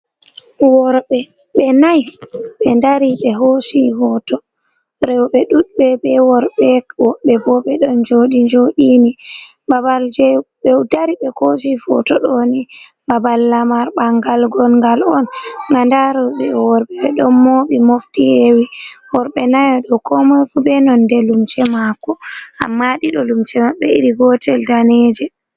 Worɓe, ɓe nai, ɓe ɗari ɓe hosi hoto. Rewɓe ɗuɗ ɓe ɓe worɓe, woɓɓe ɓo ɓe ɗon joɗi joɗini. Ɓaɓal je ɓe ɗari ɓe hosi foto ɗoni ɓaɓal lamar ɓangal gongan on. Nɗa roɓe e worɓe ɓe ɗo moɓi mofti hewi. Worɓe nayo ɗo ko moi fu ɓe nonɗe lumce mako. Amma ɗiɗo lumce maɓɓe iri gotel ɗaneje.